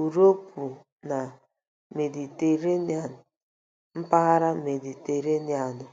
Uropu na Mediterenian mpaghara Mediterenianu.